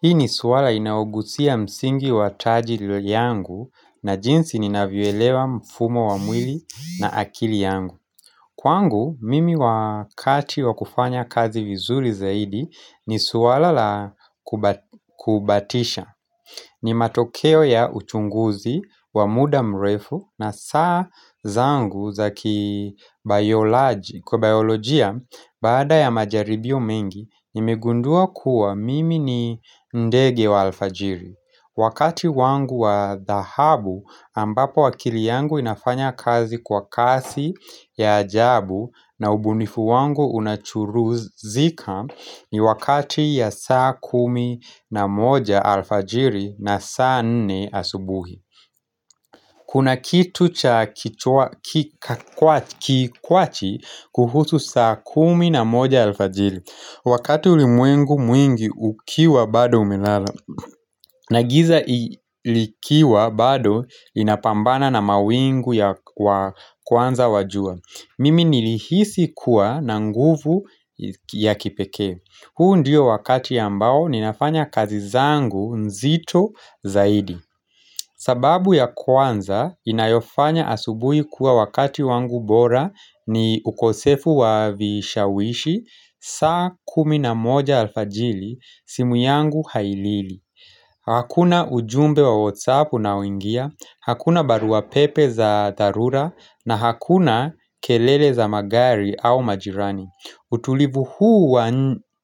Hii ni swala inayogusia msingi wa tajili yangu na jinsi ninavyoelewa mfumo wa mwili na akili yangu. Kwangu, mimi wakati wakufanya kazi vizuri zaidi ni suwala la kubatisha. Ni matokeo ya uchunguzi wa muda mrefu na saa zangu zaki bioloji. Kwa biolojia, baada ya majaribio mengi, nimegundua kuwa mimi ni ndege wa alfajiri. Wakati wangu wa dhahabu ambapo akili yangu inafanya kazi kwa kasi ya ajabu na ubunifu wangu unachuruzika ni wakati ya saa kumi na moja alfajiri na saa nne asubuhi. Kuna kitu cha kikwachi kuhusu saa kumi na moja alfajili Wakati ulimwengu mwingi ukiwa bado umelala na giza likiwa bado inapambana na mawingu ya kwanza wajua Mimi nilihisi kuwa na nguvu ya kipekee huu ndio wakati ambao ninafanya kazi zangu nzito zaidi sababu ya kwanza, inayofanya asubui kuwa wakati wangu bora ni ukosefu wa vishawishi, saa kuminamoja alfajili, simu yangu hailili. Hakuna ujumbe wa whatsapp unaoingia, hakuna baruapepe za dharura, na hakuna kelele za magari au majirani. Utulivu huu wa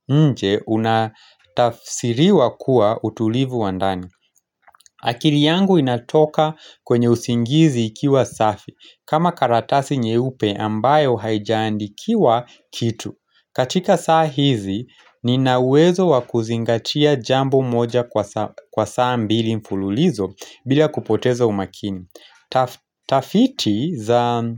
nje unatafsiriwa kuwa utulivu wandani. Akili yangu inatoka kwenye usingizi ikiwa safi kama karatasi nye upe ambayo haijandikiwa kitu katika saa hizi ninauwezo wakuzingatia jambo moja kwa saa mbili mfululizo bila kupotezo umakini Tafiti za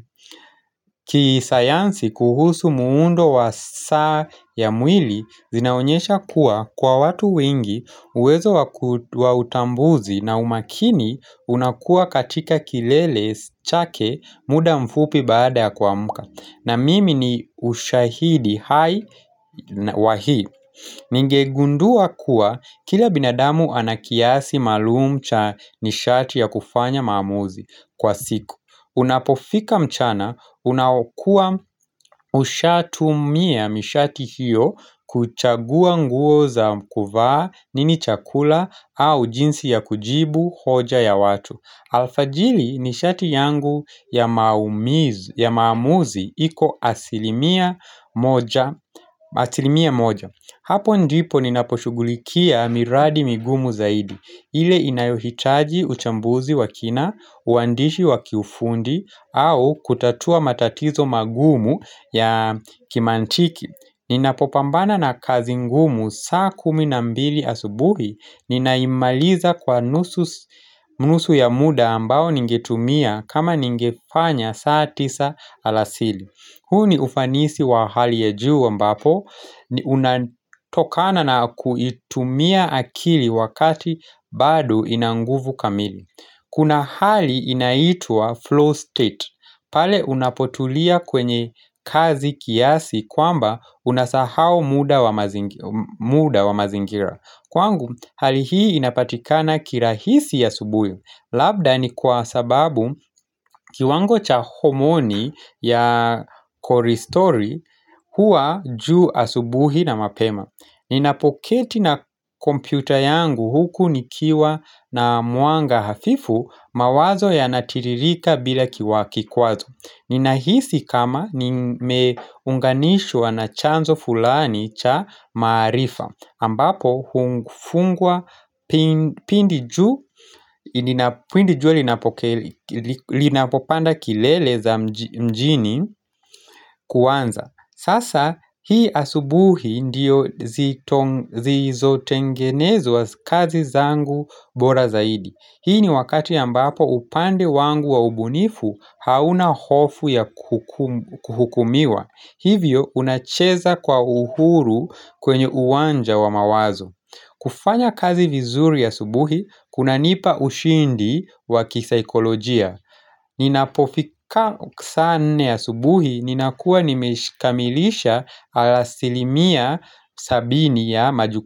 kisayansi kuhusu muundo wa saa ya mwili zinaonyesha kuwa kwa watu wingi uwezo wa wa utambuzi na umakini unakuwa katika kilele chake muda mfupi baada ya kua mka na mimi ni ushahidi hai wahi Ningegundua kuwa kila binadamu anakiasi maalum cha nishati ya kufanya maamuzi kwa siku Unapofika mchana, unaokuwa ushatumia mishati hiyo kuchagua nguo za kuvaa nini chakula au jinsi ya kujibu hoja ya watu alfajiri ni shati yangu ya maumizi, ya maamuzi, iko asilimia moja, asilimia moja Hapo ndipo ninaposhughulikia miradi migumu zaidi ile inayohitaji uchambuzi wakina, uandishi wakiufundi, au kutatua matatizo magumu ya kimantiki Ninapopambana na kazi ngumu saa kuminambili asubuhi ninaimaliza kwa nusu ya muda ambao ningetumia kama ningefanya saa tisa alasili huu ni ufanisi wa hali ya juu ambapo unatokana na kuitumia akili wakati bado inanguvu kamili Kuna hali inaitua flow state, pale unapotulia kwenye kazi kiasi kwamba unasahau muda wa mazingira. Kwangu, hali hii inapatikana kirahisi a subuhi. Labda ni kwa sababu kiwango cha homoni ya kole stori huwa juu asubuhi na mapema. Ninapoketi na kompyuta yangu huku nikiwa na mwanga hafifu mawazo yanatiririka bila kiwakikwazo Ninahisi kama nimeunganishwa na chanzo fulani cha maarifa ambapo hufungwa pindi jua linapopanda kilele za mjini kuanza Sasa hii asubuhi ndiyo zi zo tengenezwa kazi zangu bora zaidi. Hii ni wakati a mbapo upande wangu wa ubunifu hauna hofu ya kuhukumiwa. Hivyo unacheza kwa uhuru kwenye uwanja wa mawazo. Kufanya kazi vizuri a subuhi, kuna nipa ushindi wa kisaikolojia. Ninapofika saa nne a subuhi, ninakuwa nimeshikamilisha alasilimia sabini ya majuku.